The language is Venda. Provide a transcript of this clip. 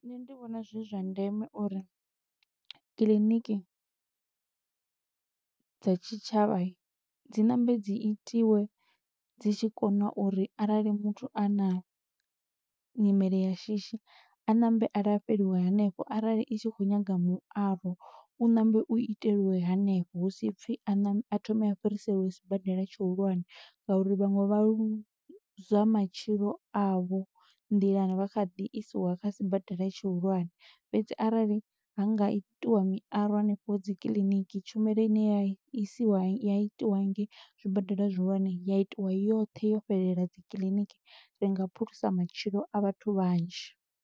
Nṋe ndi vhona zwi zwa ndeme uri kiḽiniki dza tshitshavha, dzi ṋambe dzi itiwe dzi tshi kona uri arali muthu a na nyimele ya shishi, a ṋambe a lafheliwa hanefho arali i tshi khou nyaga muaro, u ṋambe u iteliwe hanefho. Hu si pfi a thome a fhiriseliwe sibadela tshihulwane, nga uri vhaṅwe vha luzwa matshilo avho nḓilani, vha kha ḓi isiwa kha sibadela tshihulwane. Fhedzi arali ha nga itiwa miaro hanefho dzi kiḽiniki, tshumelo ine ya isiwa, ya i tiwa ngei zwibadela zwihulwane ya itiwa yoṱhe yo fhelela dzi kiḽiniki, ri nga phulusa matshilo a vhathu vhanzhi.